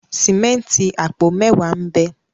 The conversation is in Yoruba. Sìmẹ́ǹtì apo mẹwa n'be.